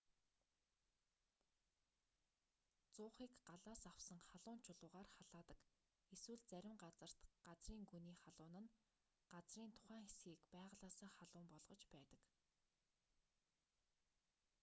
зуухыг галаас авсан халуун чулуугаар халаадаг эсвэл зарим газарт газрын гүний халуун нь газрын тухайн хэсгийг байгалиасаа халуун болгож байдаг